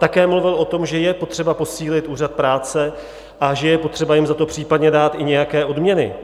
Také mluvil o tom, že je potřeba posílit úřad práce a že je potřeba jim za to případně dát i nějaké odměny.